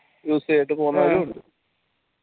use ചെയ്തിട്ട് പോന്നവരും ഉണ്ട്